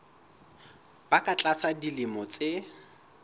ba ka tlasa dilemo tse